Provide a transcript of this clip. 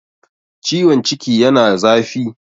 ciwon ciki yana zafi